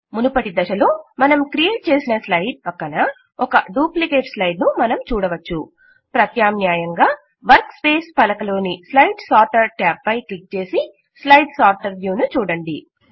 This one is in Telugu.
మునుపటి దశలో మనం క్రియేట్ చేసిన స్లైడ్ పక్కన ఒక డూప్లికేట్ స్లైడ్ ను మనం చూడవచ్చు ప్రత్యామ్నాయంగా వర్క్ స్పేస్ పలక లోని స్లైడ్ సార్టర్ ట్యాబ్ పై క్లిక్ చేసి స్లైడ్ సార్టర్ వ్యూ ను చూడండి